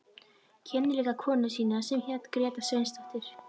Kynnti líka konu sína sem hét Gréta Sveinsdóttir.